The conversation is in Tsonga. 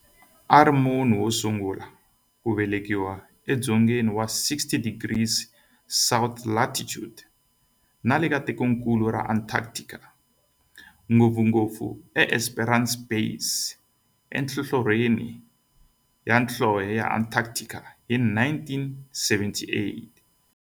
Ari munhu wosungula ku velekiwa e dzongeni wa 60 degrees south latitude nale ka tikonkulu ra Antarctic, ngopfungopfu e Esperanza Base enhlohlorhini ya nhlonhle ya Antarctic hi 1978.